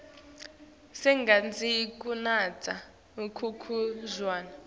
singatsandzi kunatsa khkhulu tjwala